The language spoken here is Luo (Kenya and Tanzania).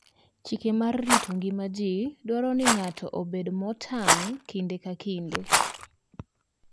Chike mag rito ngima ji dwaro ni ng'ato obed motang' kinde ka kinde.